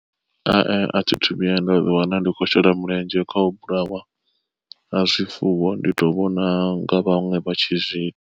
Hai a thithu vhuya nda ḓi wana ndi khou shela mulenzhe kha u vhulawa ha zwifuwo ndi to vhona nga vhaṅwe vha tshi zwi.